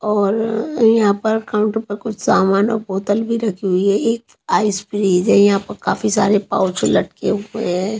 और-र यहाँ पर काउंटर पर कुछ सामान और बोतल भी रखी हुई है एक आइस फ्रीज है यहाँ पर काफी सारे पाउच लटके हुए हैं।